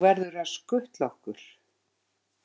Þú verður að skutla okkur.